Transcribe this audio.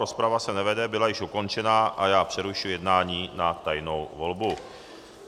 Rozprava se nevede, byla již ukončena a já přerušuji jednání na tajnou volbu.